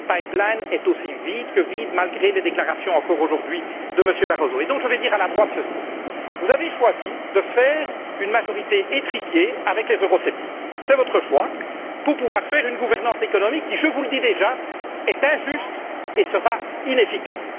Le pipeline est aussi vide que vide, malgré les déclarations, aujourd'hui encore, de M. Barroso. Je vais dire ceci à la droite vous avez choisi de faire une majorité étriquée avec les eurosceptiques c'est votre choix pour pouvoir faire une gouvernance économique qui, je vous le dis déjà, est injuste et sera inefficace.